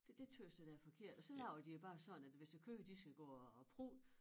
Det det tøs jeg da er forkert og så laver de jo bare sådan at hvis æ køer de skal gå og og prutte